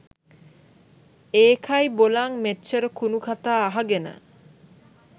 ඒකයි බොලං මෙච්චර කුණු කතා අහගෙන